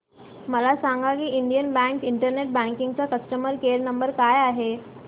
मला सांगा की इंडियन बँक इंटरनेट बँकिंग चा कस्टमर केयर नंबर काय आहे